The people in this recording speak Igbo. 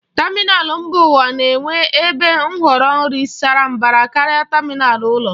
Tamịnal mba ụwa na-enwe ebe nhọrọ nri sara mbara karịa tamịnal ụlọ.